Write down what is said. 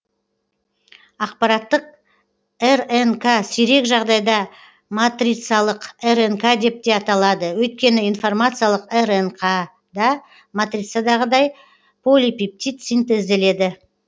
ақпараттық рнк сирек жағдайда матрицалық рнк деп те аталады өйткені информациялық рнқ да матрицадағыдай полипептид синтезделеді